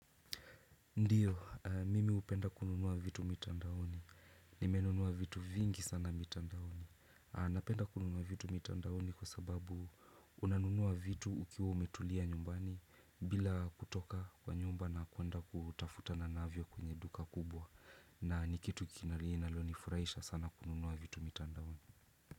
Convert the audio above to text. Ndiyo, mimi hupenda kununuwa vitu mitandaoni. Nime nunua vitu vingi sana mitandaoni. Napenda kununua vitu mitandaoni kwa sababu una nunua vitu ukiwa umetulia nyumbani bila kutoka kwa nyumba na kwenda kutafuta na navyo kwenye duka kubwa. Na nikitu kinali ninalonifuraisha sana kununua vitu mitandaoni.